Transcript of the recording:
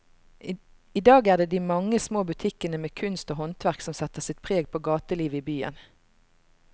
I dag er det de mange små butikkene med kunst og håndverk som setter sitt preg på gatelivet i byen.